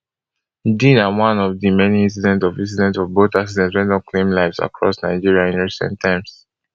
di na one of di many incidents of incidents of boat accidents wey don claim lives across nigeria in recent times